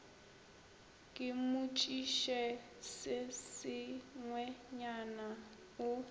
ke mmotšiše se sengwenyana o